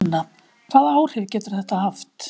Sunna: Hvaða áhrif getur þetta haft?